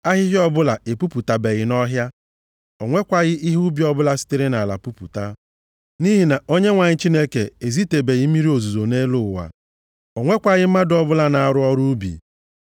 Ahịhịa ọbụla epupụtabeghị nʼọhịa, o nwekwaghị ihe ubi ọbụla sitere nʼala pupụta, nʼihi na Onyenwe anyị Chineke ezitebeghị mmiri ozuzo nʼelu ụwa, o nwekwaghị mmadụ ọbụla nọ na-arụ ọrụ ubi,